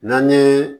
N'an ye